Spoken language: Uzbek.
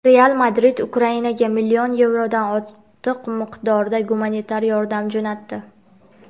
"Real Madrid" Ukrainaga million yevrodan ortiq miqdorda gumanitar yordam jo‘natdi;.